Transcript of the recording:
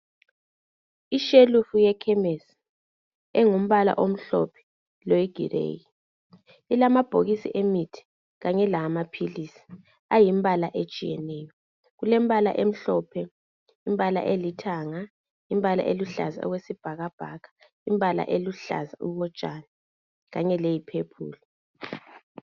Ishelufu yekhemisi engumbala omhlophe loyigireyi ilamabhokisi emithi kanye lawamaphilisi ayimbala etshiyeneyo. Kulembala emhlophe, imbala elithanga, imbala eluhlaza okwesibhakabhaka, imbala eluhlaza okotshani kanye leyiphephulu.